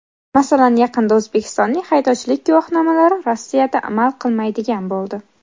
Masalan, yaqinda O‘zbekistonning haydovchilik guvohnomalari Rossiyada amal qilmaydigan bo‘ldi.